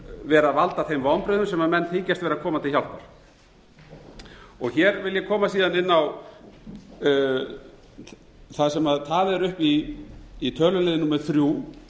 vera að valda þeim vonbrigðum sem bent þykjast vera að koma til hjálpar hér vil ég koma síðan inn á það sem talið er upp í tölulið númer þrjú